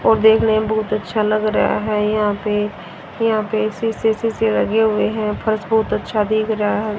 और देखने में बहुत अच्छा लग रहा है यहां पे यहां पे शीशे से लगे हुए है फर्श बहुत अच्छा दिख रहा है।